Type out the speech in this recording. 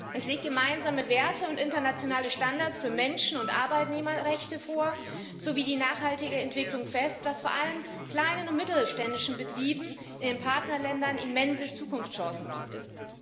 Es legt gemeinsame Werte und internationale Standards für Menschen und Arbeitnehmerrechte vor sowie die nachhaltige Entwicklung fest, was vor allem kleinen und mittelständischen Betrieben in den Partnerländern immense Zukunftschancen bietet.